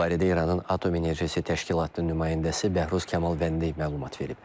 Bu barədə İranın Atom Enerjisi Təşkilatının nümayəndəsi Bəhruz Kamalvəndi məlumat verib.